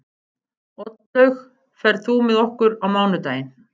Oddlaug, ferð þú með okkur á mánudaginn?